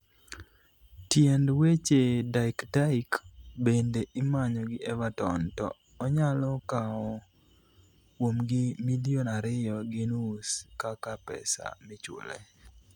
tiend weche, Dyche Dyche bende imanyo gi Everton to onyalo kawo kuomgi milion ariyo gi nus kaka pesa michule